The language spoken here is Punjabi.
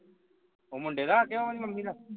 ਉਹ ਮੁੰਡੇ ਦਾ ਜਾਂ ਉਸ ਦੀ ਮੰਮੀ ਦਾ